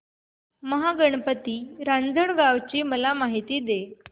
महागणपती रांजणगाव ची मला माहिती दे